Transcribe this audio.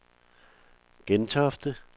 Gentofte